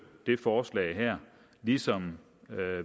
det forslag her ligesom